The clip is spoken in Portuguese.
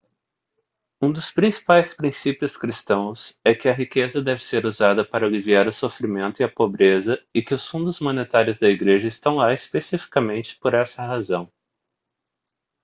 um dos principais princípios cristãos é que a riqueza deve ser usada para aliviar o sofrimento e a pobreza e que os fundos monetários da igreja estão lá especificamente por essa razão